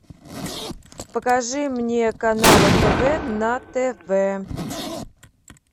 покажи мне канал нтв на тв